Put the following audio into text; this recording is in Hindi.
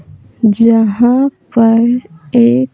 जहाँ पर एक --